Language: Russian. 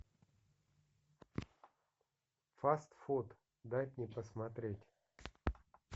фаст фуд дать мне посмотреть